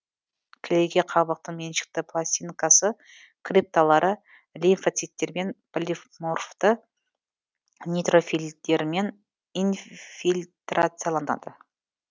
кілегей қабықтың меншікті пластинкасы крипталары лимфоциттермен полиморфты нейтрофильдермен инфильтрацияланады